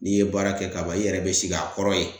N'i ye baara kɛ kaban ,i yɛrɛ be sigi a kɔrɔ ye.